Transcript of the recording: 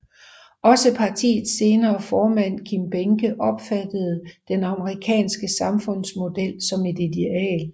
Også partiets senere formand Kim Behnke opfattede den amerikanske samfundsmodel som et ideal